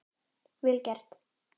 Vel gert.